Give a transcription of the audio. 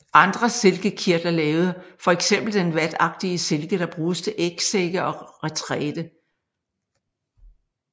Andre silkekirtler laver fx den vatagtige silke der bruges til ægsække og retræte